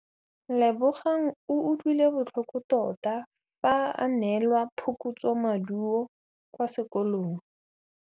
Lebogang o utlwile botlhoko tota fa a neelwa phokotsômaduô kwa sekolong.